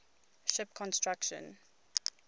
ship construction